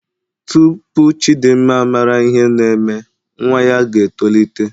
Tupu Chidimma mara ihe na-eme nwa ya ga-etolite.